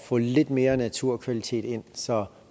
få lidt mere naturkvalitet ind så